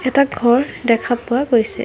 এটা ঘৰ দেখা পোৱা গৈছে।